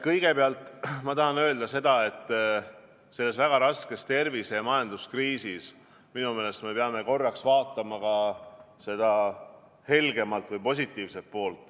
Kõigepealt ma tahan öelda seda, et selles väga raskes tervise- ja majanduskriisis minu meelest me peame korraks vaatama ka seda helgemat või positiivset poolt.